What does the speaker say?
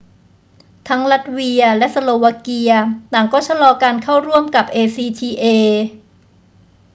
ทั้งลัตเวียและสโลวาเกียต่างก็ชะลอการเข้าร่วมกับ acta